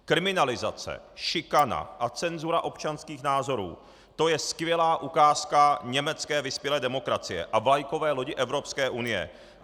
Kriminalizace, šikana a cenzura občanských názorů - to je skvělá ukázka německé vyspělé demokracie a vlajkové lodi Evropské unie.